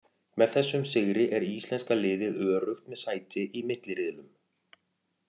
Með þessum sigri er íslenska liðið öruggt með sæti í milliriðlum.